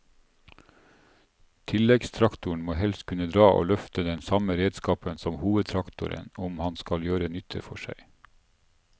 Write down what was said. Tilleggstraktoren må helst kunne dra og løfte den samme redskapen som hovedtraktoren om han skal gjøre nytte for seg.